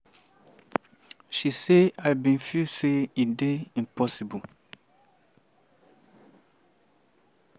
she say "i bin feel say e dey impossible.